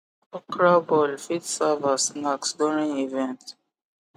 okra ball fit serve as snacks during event